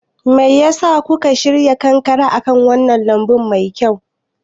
Me ya sa kuka shirya kankare akan wannan lambun mai kyau?